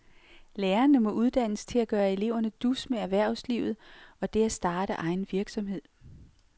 Lærerne må uddannes til at gøre eleverne dus med erhvervslivet og det at starte egen virksomhed.